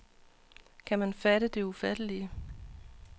Kan man fatte det ufattelige.